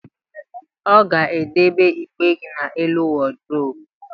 Ọ ga-edebe igbe gị n'elu wọdụrobu